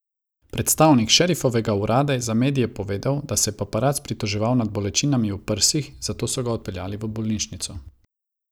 Predstavnik šerifovega urada je za medije povedal, da se je paparac pritoževal nad bolečinami v prsih, zato so ga odpeljali v bolnišnico.